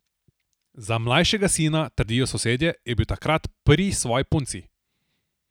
Za mlajšega sina, trdijo sosedje, je bil takrat pri svoji punci.